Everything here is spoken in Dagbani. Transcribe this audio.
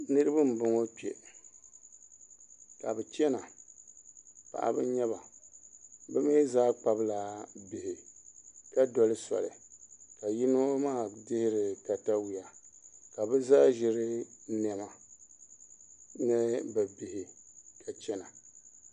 Niraba n bɔŋɔ kpɛ ka bi chɛna paɣaba n nyɛba bi mii zaa kpabila bihi ka doli soli ka yino maa teeri katawiya ka bi zaa ʒiri niɛma ni bi bihi ka chɛna